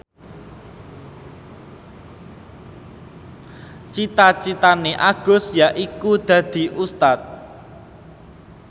cita citane Agus yaiku dadi Ustad